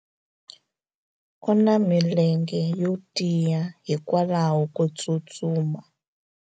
u na milenge yo tiya hikwalaho ko tsustuma